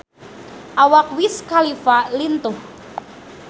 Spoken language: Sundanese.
Awak Wiz Khalifa lintuh